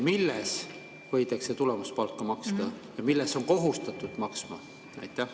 Milles võidakse tulemuspalka maksta ja milles ollakse kohustatud maksma?